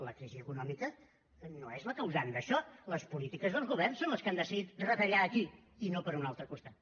la crisi econòmica no és la causant d’això les polítiques dels governs són les que han decidit retallar aquí i no per un altre costat